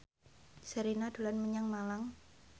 Sherina dolan menyang Malang